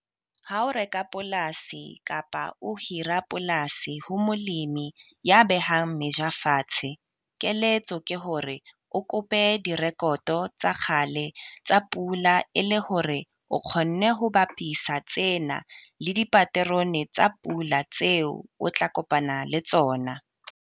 Ha o reka polasi kapa o hira polasi ho molemi ya behang meja fatshe, keletso ke hore o kope direkoto tsa kgale tsa pula e le hore o kgone ho bapisa tsena le dipaterone tsa pula tseo o tla kopana le tsona.